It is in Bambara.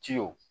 Ciw